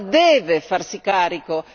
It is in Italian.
L'Europa deve farsi carico.